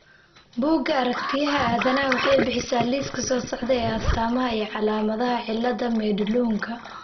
Bugga Aragtiyaha Aadanahawaxay bixisaa liiska soo socda ee astaamaha iyo calaamadaha cillada Madelungka.